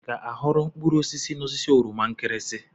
I ga-aghọrọ mkpụrụ osisi n'osisi oroma nkirinsi?